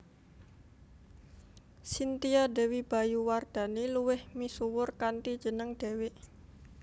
Cynthia Dewi Bayu Wardhani luwih misuwur kanthi jeneng Dewiq